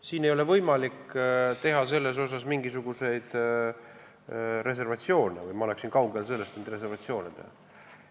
Siin ei ole võimalik teha mingisuguseid reservatsioone või ma oleksin kaugel sellest, et reservatsioone teha.